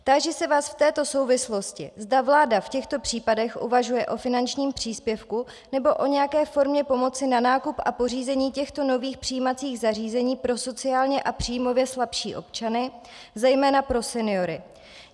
Táži se vás v této souvislosti, zda vláda v těchto případech uvažuje o finančním příspěvku nebo o nějaké formě pomoci na nákup a pořízení těchto nových přijímacích zařízení pro sociálně a příjmově slabší občany, zejména pro seniory.